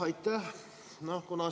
Aitäh!